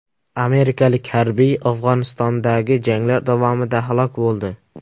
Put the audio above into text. Amerikalik harbiy Afg‘onistondagi janglar davomida halok bo‘ldi.